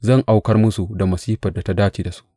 Zan aukar musu da masifar da ya dace da su.